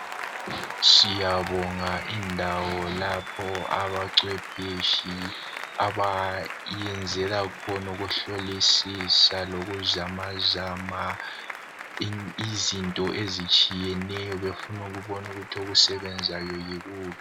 Siyabonga indawo lapho abacwepheshi abayenzela khona ukuhlolisisa lokuzama zama izinto ezitshiyeneyo befuna ukubona ukuthi okusebenzayo yikuphi.